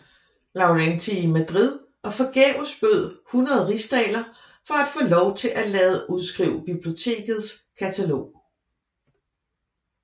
Laurentii i Madrid og forgæves bød 100 rigsdaler for at få Lov til at lade udskrive bibliotekets katalog